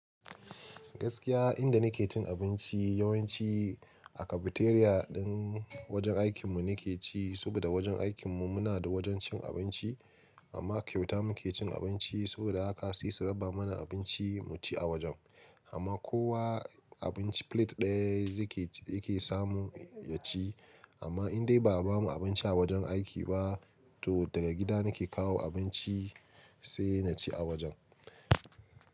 Gaskiya inda nake cin abinci yawanci a cafeteria ɗin wajen aikinmu nake ci, saboda wajen aikinmu muna da wajen cin abinci amma kyauta muke cin abinci. Saboda haka sai su raba mana abinci mu ci a wajen. Amma kowa abinci plate ɗaya yake, yake samu ya ci. Amma in dai ba a bamu abinci a wajen aiki ba to daga gida nake kawo abinci sai na ci a wajen.